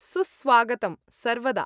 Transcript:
सुस्वागतं सर्वदा।